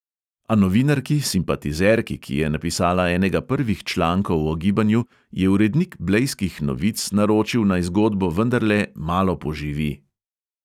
A novinarki, simpatizerki, ki je napisala enega prvih člankov o gibanju, je urednik blejskih novic naročil, naj zgodbo vendarle "malo poživi".